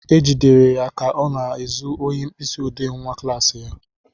E jidere ya ka ọ na-ezu ohi mkpịsị odee nwa klassị ya.